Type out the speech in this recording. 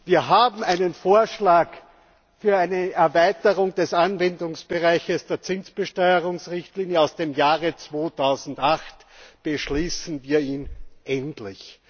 Wir haben einen Vorschlag für eine Erweiterung des Anwendungsbereichs der Zinsbesteuerungsrichtlinie aus dem Jahre 2008. Beschließen wir ihn endlich!